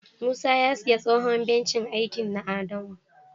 Musa ya siya tsohon bencin aiki na adamu.